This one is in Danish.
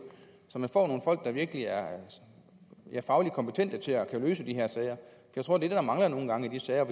så man får nogle folk der virkelig er fagligt kompetente til at kunne løse de her sager det tror jeg mangler nogle gange i de sager